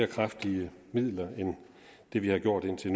kraftigere midler end vi har gjort hidtil